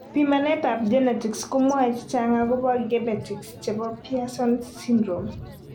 Pimanetap genetics komwoe chechang agopo gebetics chepo Pierson syndrome.